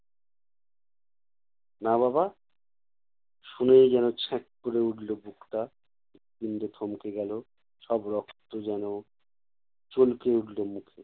না বাবা? শুনেই যেনো ছ্যাঁক করে উঠলো বুকটা। হৃৎপিণ্ড থমকে গেলো। সব রক্ত যেনো চলকে উঠলো মুখে।